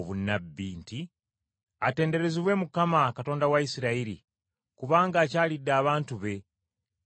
“Atenderezebwe Mukama Katonda wa Isirayiri, kubanga akyalidde abantu be, era abanunudde.